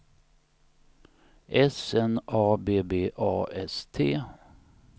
S N A B B A S T